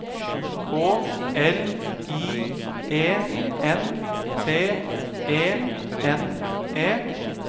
K L I E N T E N E